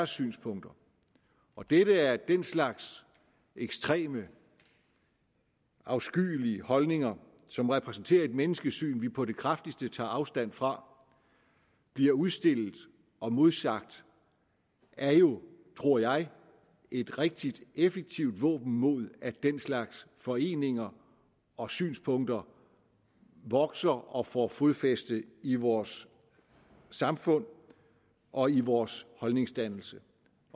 synspunkter og dette at den slags ekstreme afskyelige holdninger som repræsenterer et menneskesyn vi på det kraftigste tager afstand fra bliver udstillet og modsagt er jo tror jeg et rigtig effektivt våben mod at den slags foreninger og synspunkter vokser og får fodfæste i vores samfund og i vores holdningsdannelse